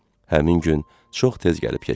Həmin gün çox tez gəlib keçdi.